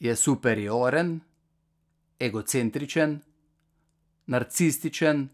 Je superioren, egocentričen, narcističen,